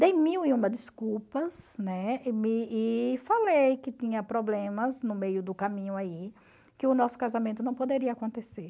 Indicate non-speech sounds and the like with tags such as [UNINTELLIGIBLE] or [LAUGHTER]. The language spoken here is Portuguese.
Dei mil e uma desculpas, né, [UNINTELLIGIBLE] e falei que tinha problemas no meio do caminho aí, que o nosso casamento não poderia acontecer.